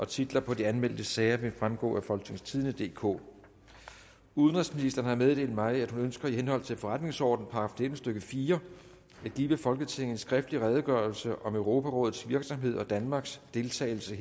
titler på de anmeldte sager vil fremgå af folketingstidende DK udenrigsministeren har meddelt mig at hun ønsker i henhold til forretningsordenens § nitten stykke fire at give folketinget en skriftlig redegørelse om europarådets virksomhed og danmarks deltagelse